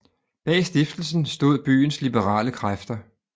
Bag stiftelsen stod byens liberale kræfter